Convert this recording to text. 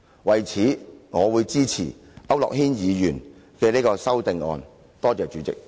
為此，我會支持區諾軒議員的修正案。